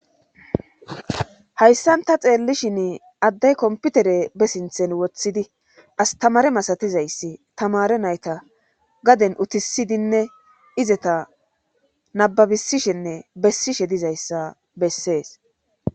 hayssan ta xeellishin addey komputere besinthen woththidi astamare masatizayssi tamare nayta gaden utisidinne izeta nababisishenne bessishe dizayssa bessees